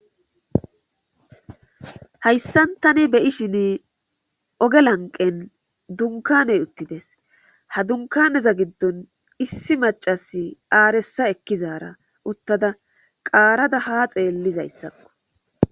hayssan tani beyishin oge lanqen dunkaney uttides ha dunkaneza giddon issi macasi aarissa ekkizaara uttada qaarada ha xeellizayssakko